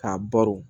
K'a baro